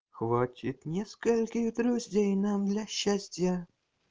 хватит нескольких друзей нам для счастья